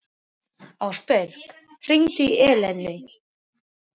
Ásbergur, hringdu í Eleinu.